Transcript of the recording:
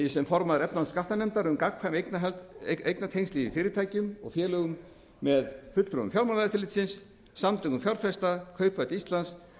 sem formaður efnahags og skattanefndar um gagnkvæmni eignartengsl í fyrirtækjum og félögum með fulltrúum fjármálaeftirlitsins samtökum fjárfesta kauphöll íslands